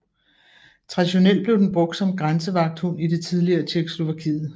Traditionelt blev den brugt som grænsevagthund i det tidligere Tjekkoslovakiet